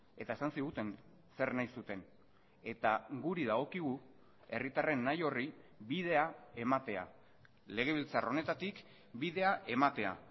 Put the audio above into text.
eta esan ziguten zer nahi zuten eta guri dagokigu herritarren nahi horri bidea ematea legebiltzar honetatik bidea ematea